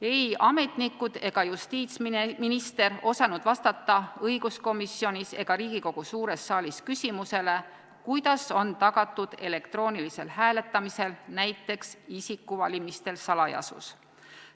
Ei ametnikud ega justiitsminister osanud vastata õiguskomisjonis ega Riigikogu suures saalis küsimusele, kuidas on tagatud elektroonilisel hääletamisel, näiteks isikuvalimistel salajasus.